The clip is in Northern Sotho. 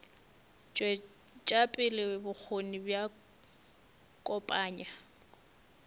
tšwetša pele bokgoni bja kopanya